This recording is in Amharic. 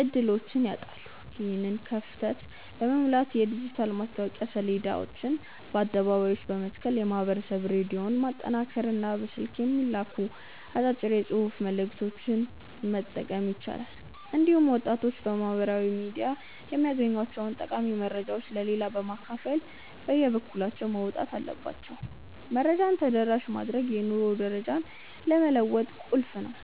ዕድሎችን ያጣሉ። ይህንን ክፍተት ለመሙላት የዲጂታል ማስታወቂያ ሰሌዳዎችን በአደባባዮች መትከል፣ የማኅበረሰብ ሬዲዮን ማጠናከርና በስልክ የሚላኩ አጫጭር የጽሑፍ መልዕክቶችን መጠቀም ይቻላል። እንዲሁም ወጣቶች በማኅበራዊ ሚዲያ የሚያገኟቸውን ጠቃሚ መረጃዎች ለሌላው በማካፈል የበኩላቸውን መወጣት አለባቸው። መረጃን ተደራሽ ማድረግ የኑሮ ደረጃን ለመለወጥ ቁልፍ ነው።